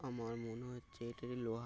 আমার মনে হচ্ছে এটা যে লোহার ।